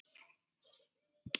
Það þarf að fagna því.